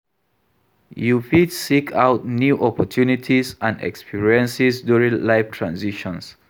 You fit seek out new opportunities and experiences during life transitions.